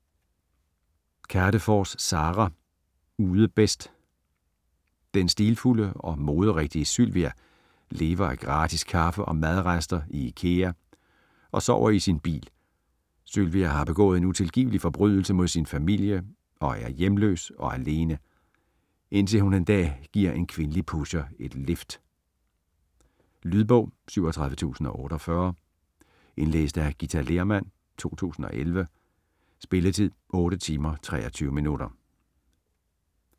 Kadefors, Sara: Ude bedst Den stilfulde og moderigtige Sylvia lever af gratis kaffe og madrester i Ikea og sover i sin bil. Sylvia har begået en utilgivelig forbrydelse mod sin familie og er hjemløs og alene, indtil hun en dag giver en kvindelig pusher et lift. Lydbog 37048 Indlæst af Githa Lehrmann, 2011. Spilletid: 8 timer, 23 minutter.